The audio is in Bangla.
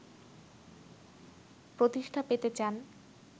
প্রতিষ্ঠা পেতে চান